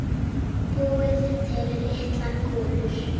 Búið til litlar kúlur.